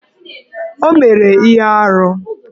O mere ihe arụ